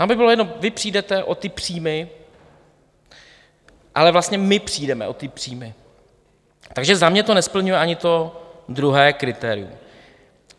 Nám by bylo jedno, vy přijdete o ty příjmy, ale vlastně my přijdeme o ty příjmy, takže za mě to nesplňuje ani to druhé kritérium.